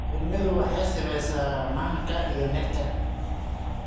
Shinnidu waxay samaysaa manka iyo nectar.